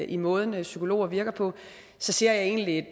i måden psykologer virker på ser jeg egentlig